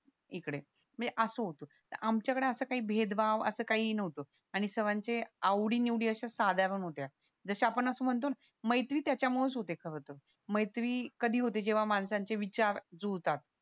इकडे ते असं होत आमच्या कडे असा काही भेदभाव असं काहीं नव्हतं आणि सर्वांचे आवडी निवडी अश्या साधारण होत्या जश्या आपण असं म्हणतो ना मैत्री त्याच्या मुळेच होते खरं तर मैत्री कधी होते जेव्हा माणसांचे विचार जुळतात